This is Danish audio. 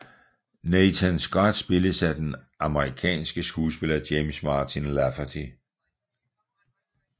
Nathan Scott spilles af den amerikanske skuespiller James Martin Lafferty